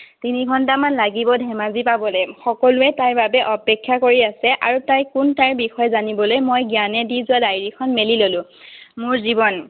তিনি ঘণ্টামান লাগিব ধেমাজি পাবলে। সকলোৱে তাইৰ বাবে অপেক্ষা কৰি আছে আৰু তাই কোন, তাইৰ বিষয়ে জানিবলৈ মই জ্ঞানে দি যোৱা diary খন মেলি ললো। মোৰ জীৱন।